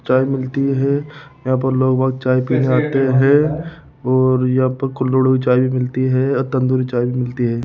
चाय मिलती है यहां पर लोग चाय पीने आते हैं और यहां पर कुल्हड़ में चाय भी मिलती है तंदूरी चाय भी मिलती है।